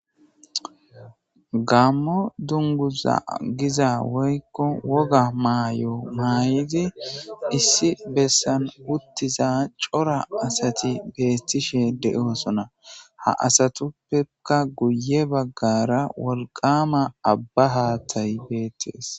gammo dunguza giza woykko woga maay7o maay'idi issi bessan uttiza cora asati beettishe de7oosona ha asatuppeka guye baggara wolqama abba haathay beettees